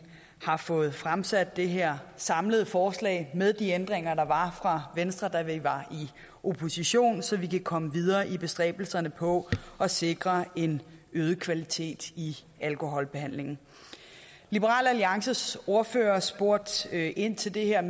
har fået fremsat det her samlede forslag med de ændringer der var fra venstre da vi var i opposition så vi kan komme videre i bestræbelserne på at sikre en øget kvalitet i alkoholbehandlingen liberal alliances ordfører spurgte ind til det her